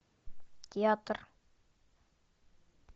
театр